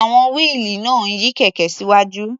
À̀wọn wíìlì náà ń yí kẹ̀kẹ́ síwájú.